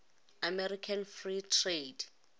american free trade